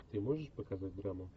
ты можешь показать драму